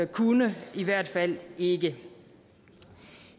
kunne i hvert fald ikke